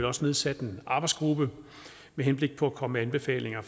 også nedsat en arbejdsgruppe med henblik på at komme med anbefalinger